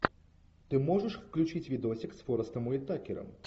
ты можешь включить видосик с форестом уитакером